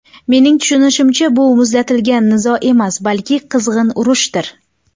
Mening tushunishimcha, bu muzlatilgan nizo emas, balki qizg‘in urushdir.